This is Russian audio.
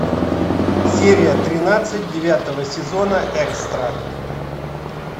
серия тринадцать девятого сезона экстра